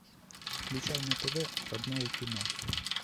включай на тв родное кино